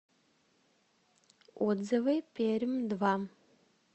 отзывы пермь два